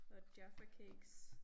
Og jaffa cakes